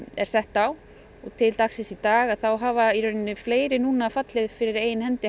er sett á og til dagsins í dag hafa fleiri fallið fyrir eigin hendi